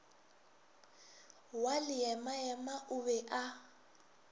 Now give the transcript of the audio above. wa leemaema o be a